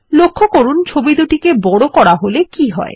লক্ষ্য করুন ছবি দুটিকে বড় করা হলে কি হয়